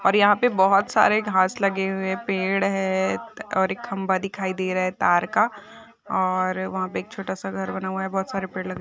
और यहा पे बहुत सारे घास लगे हुए पेड़ है और एक खंबा दिखाई दे रहे तार का और वहा पे एक छोटा सा घर बना हुआ है बहुत सारे पेड़ लगे --